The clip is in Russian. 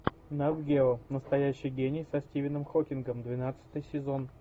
нат гео настоящий гений со стивеном хокингом двенадцатый сезон